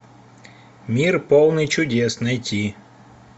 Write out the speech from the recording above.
мир полный чудес найти